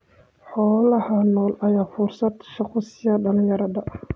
Xoolaha nool ayaa fursad shaqo siiya dhalinyarada.